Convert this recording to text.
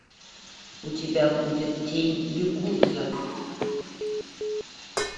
у тебя будет тень якудза